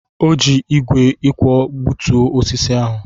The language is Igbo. O ji ígwè ịkwọ gbutuo osisi ahụ.